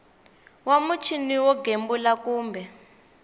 wa muchini wo gembula kumbe